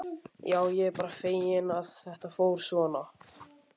Já, ég er bara feginn að þetta fór svona.